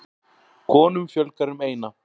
Konum fjölgar um eina.